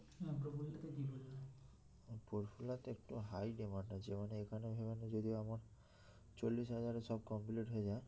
পরফুলাতে একটু high demand আছে মানে এখানে মানে যদি আমার চল্লিশ হাজারে সব complete হয়ে যায়